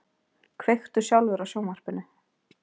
Kveiktu sjálfur á sjónvarpinu.